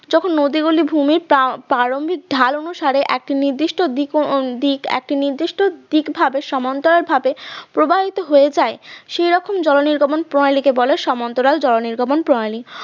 যখন নদীগুলি ভূমির পার ~ প্রারম্ভিক ঢাল অনুসারে একটা নির্দিষ্ট দিকে দিক একটা নির্দিষ্ট দিকে ভাবে সমান্তরালভাবে প্রবাহিত হয়ে যায় সেই রকম জল নির্গমন প্রণালী কে বলে সমান্তরাল নির্গমন প্রণালী